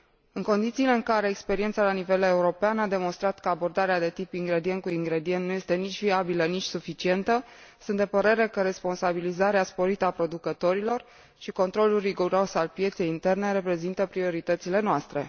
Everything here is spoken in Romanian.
În condițiile în care experiența la nivel european a demonstrat că abordarea de tip ingredient cu ingredient nu este nici viabilă, nici suficientă, sunt de părere că responsabilizarea sporită a producătorilor și controlul riguros al pieței interne reprezintă prioritățile noastre.